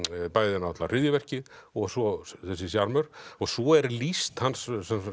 bæði náttúrulega hryðjuverkið og svo þessi sjarmör svo er lýst hans